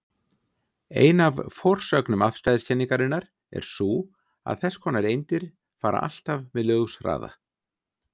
Ein af forsögnum afstæðiskenningarinnar er sú að þess konar eindir fara alltaf með ljóshraða.